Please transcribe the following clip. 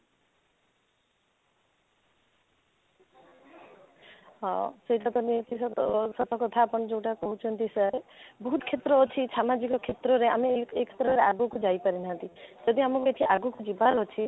ହଁ, ସେଇଟା ତ ନିହାତି ସତ ସତ କଥା ଆପଣ ଯଉଟା କହୁଛନ୍ତି sir ବହୁତ କ୍ଷେତ୍ର ଅଛି ସାମାଜିକ କ୍ଷେତ୍ରରେ ଆମେ ଆଗକୁ ଯାଇ ପାରୁ ନାହାନ୍ତି ଯଦି ଆମ ମାନଙ୍କର ଆଗକୁ ଯିବାର ଅଛି